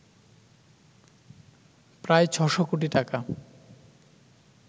প্রায় ৬শ কোটি টাকা